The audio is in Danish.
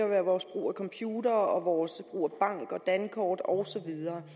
være vores brug af computere vores brug af bank og dankort og så videre